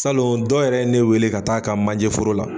Salon dɔ yɛrɛ ye ne weele ka taa'a ka manje foro la.